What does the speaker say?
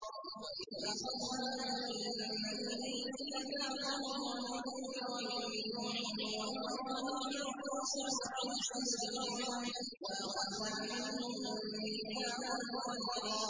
وَإِذْ أَخَذْنَا مِنَ النَّبِيِّينَ مِيثَاقَهُمْ وَمِنكَ وَمِن نُّوحٍ وَإِبْرَاهِيمَ وَمُوسَىٰ وَعِيسَى ابْنِ مَرْيَمَ ۖ وَأَخَذْنَا مِنْهُم مِّيثَاقًا غَلِيظًا